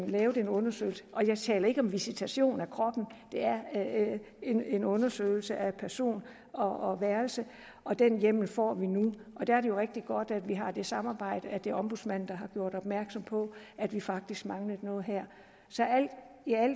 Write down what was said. lave en undersøgelse jeg taler ikke om visitation af kroppen det er en en undersøgelse af person og værelse og den hjemmel får vi nu der er det jo rigtig godt at vi har det samarbejde at det er ombudsmanden der har gjort opmærksom på at vi faktisk manglede noget her